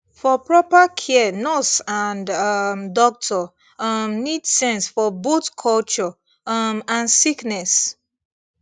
for proper care nurse and um doctor um need sense for both culture um and sickness